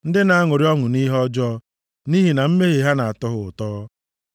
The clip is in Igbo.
ndị na-aṅụrị ọṅụ nʼihe ọjọọ, nʼihi na mmehie ha na-atọ ha ụtọ.